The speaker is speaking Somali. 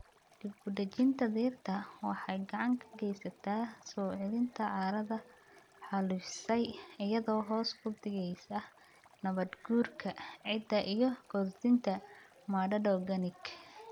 Dib-u-dejinta dhirta waxay gacan ka geysataa soo celinta carradu xaalufisay iyadoo hoos u dhigaysa nabaad-guurka ciidda iyo kordhinta maadada organic.